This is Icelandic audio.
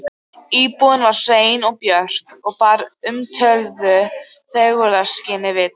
Íbúðin var hrein og björt og bar umtöluðu fegurðarskyni vitni.